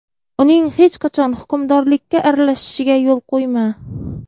Uning hech qachon hukmdorlikka aralashishiga yo‘l qo‘yma.